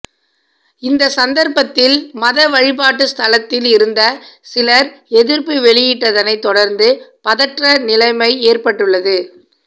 இந்த சந்தர்ப்பத்தில் மத வழிப்பாட்டு ஸ்தலத்தில் இருந்த சிலர் எதிர்ப்பு வெளியிட்டதனை தொடர்ந்து பதற்ற நிலைமை ஏற்பட்டுள்ளது